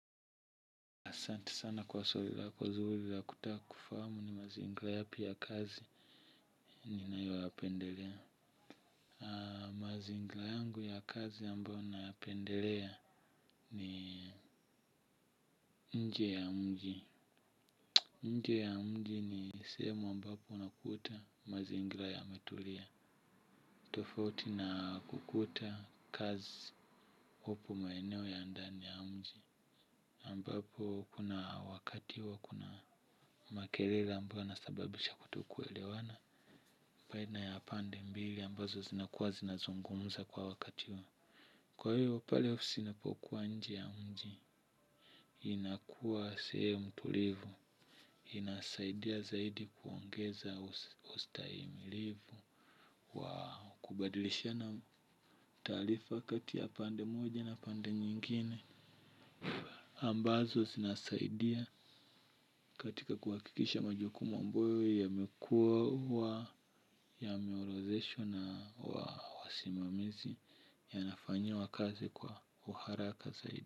Asante sana kwa swali lako zuri la kutaka kufahamu ni mazingira yapi ya kazi ninayoyapendelea. Mazingira yangu ya kazi ambayo nayapendelea ni nje ya mji. Nje ya mji ni sehemu ambapo unakuta mazingira yametulia. Tofauti na kukuta kazi huku maeneo ya ndani ya mji. Ambapo kuna wakati huwa kuna makelele ambayo yanasababisha kutokuelewana baina ya pande mbili ambazo zinakuwa zinazungumuza kwa wakati huu. Kwa hivyo pale ofisi inapokuwa nji ya mji. Nje ya mji ni sehemu ambapo unakuta mazingira yametulia. Tofauti na kukuta kazi upo maeneo ya ndani ya mji. Ambapo kuna wakati wa kuna makelele ambayo husababisha kutokuelewana baina ya pande mbili ambazo zinakuwa zinazungumuza kwa wakati. Kwa hiyo pale ofisi inapokuwa nje ya mji.